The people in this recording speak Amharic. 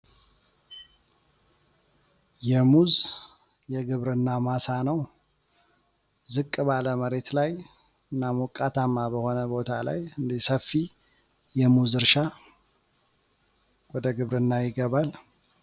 የሙዝ የግብርና ማሳ ነው ዝቅ ባለ መሬት ላይ እና ሞቃታማ በሆነ ቦታ ላይ እንዲሰፊ የሙዝ እርሻ ወደ ግብርና ይገባል።